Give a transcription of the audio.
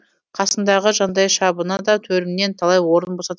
қасындағы жандайшабына да төрімнен талай орын босатып